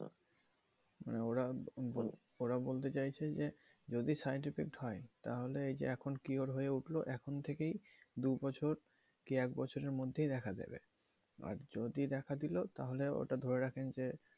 ওরা বলতে চাইছে যে যদি side effect হয় তাহলে এখন যে এই কি হয়ে উঠলো এখন থেকেই দুই বছর কি এক বছরের মধ্য দেখা দিবে আর যদি দেখা দিল ওটা ধরে রাখেন যে